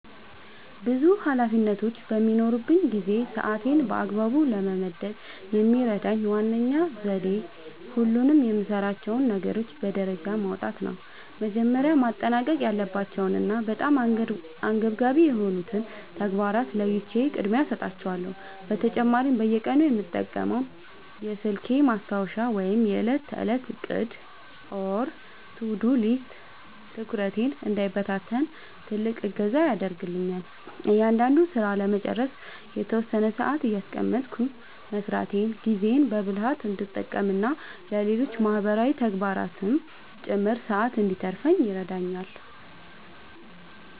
ብዙ ኃላፊነቶች በሚኖሩኝ ጊዜ ሰዓቴን በአግባቡ ለመመደብ የሚረዳኝ ዋነኛው ዘዴ ሁሉንም የምሠራቸውን ነገሮች በደረጃ ማውጣት ነው። መጀመሪያ ማጠናቀቅ ያለባቸውንና በጣም አንገብጋቢ የሆኑትን ተግባራት ለይቼ ቅድሚያ እሰጣቸዋለሁ። በተጨማሪም በየቀኑ የምጠቀመው የስልኬ ማስታወሻ ወይም የዕለት ተዕለት ዕቅድ (To-Do List) ትኩረቴ እንዳይበታተን ትልቅ እገዛ ያደርግልኛል። እያንዳንዱን ሥራ ለመጨረስ የተወሰነ ሰዓት እያስቀመጥኩ መሥራቴ ጊዜዬን በብልሃት እንድጠቀምና ለሌሎች ማህበራዊ ተግባራትም ጭምር ሰዓት እንድተርፈኝ ይረዳኛል።